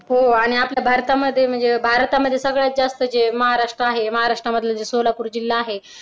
हो आणि आपल्या भारतामध्ये म्हणजे भारतामध्ये सगळ्यात जास्त जे महाराष्ट्र आहे महाराष्ट्र मध्ये जे सोलापूर जिल्हा आहे.